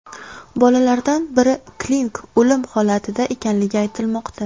Bolalardan biri klinik o‘lim holatida ekanligi aytilmoqda.